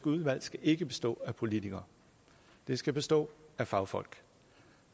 udvalg skal ikke bestå af politikere det skal bestå af fagfolk